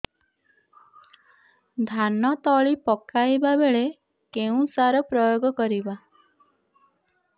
ଧାନ ତଳି ପକାଇବା ବେଳେ କେଉଁ ସାର ପ୍ରୟୋଗ କରିବା